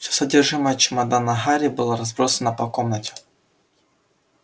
все содержимое чемодана гарри было разбросано по комнате